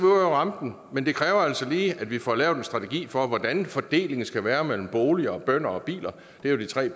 rampen men det kræver altså lige at vi får lavet en strategi for hvordan fordelingen skal være mellem boliger bønder og biler det er jo de tre